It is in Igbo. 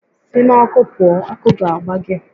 Si n'ọkụ pụọ! Ọkụ ga-agba gị!